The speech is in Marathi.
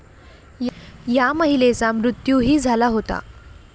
या महिलेचा मृत्यूही झाला होता.